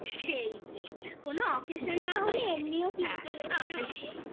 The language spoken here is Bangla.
সেই সেই কোন occasion না হলে এমনিও কিনতে লোকে যায়